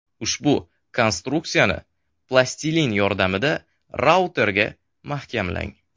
Ushbu konstruksiyani plastilin yordamida routerga mahkamlang.